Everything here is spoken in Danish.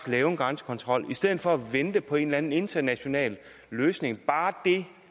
lave en grænsekontrol i stedet for at vente på en eller anden international løsning bare det